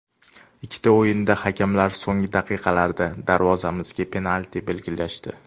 Ikkita o‘yinda hakamlar so‘nggi daqiqalarda darvozamizga penalti belgilashdi.